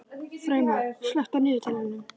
Freymar, slökktu á niðurteljaranum.